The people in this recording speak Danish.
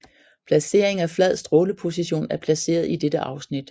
Placering af flad stråleposition er placeret i dette afsnit